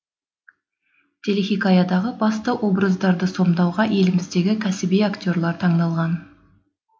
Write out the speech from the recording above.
телехикаядағы басты образдардысомдауға еліміздегі кәсіби актерлар таңдалған